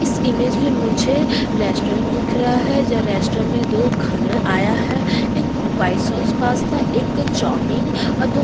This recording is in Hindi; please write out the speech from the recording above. इस इमेज में मुझे रेस्टोरेंट दिख रहा हैरेस्टोरेंट में दो खाना आया है एक वाइट सॉस पास्ता एक चौमिन --